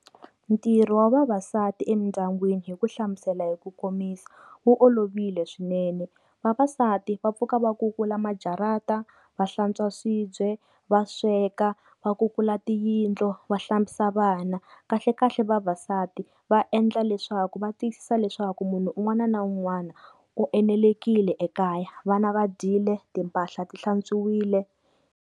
Ntirho wa vavasati emindyangwini hi ku hlamusela hi ku komisa wu olovile swinene, vavasati va pfuka va kukula majarata, va hlantswa swibye, va sweka, va kukula tiyindlo, va hlambisa vana kahlekahle vavasati va endla leswaku va tiyisisa leswaku munhu un'wana na un'wana u enelekile ekaya, vana va dyile timpahla ti hlantswiwile.